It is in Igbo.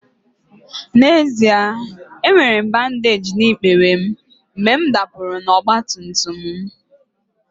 N'ezie, enwere m bandeeji na ikpere m mgbe m dapụrụ n'ọgba tum tum m